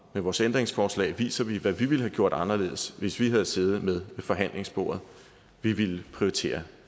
vores ændringsforslag viser vi hvad vi ville have gjort anderledes hvis vi havde siddet med ved forhandlingsbordet vi ville prioritere